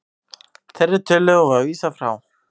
Þeirri tillögu var vísað frá